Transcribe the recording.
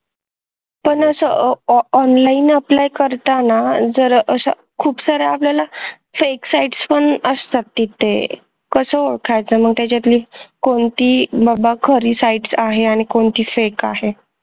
पण असं online APPLY अह जर करता आला जर खूपसाऱ्या आपल्याला fake sites पण असतात तिथे कसं ओळखायच मग त्याच्यातील कोणती खरी sites आहे आणि कोणती बाबा fake आहे